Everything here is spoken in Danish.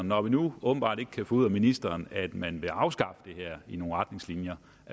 når vi nu åbenbart ikke kan få ud af ministeren at man vil afskaffe det med nogle retningslinjer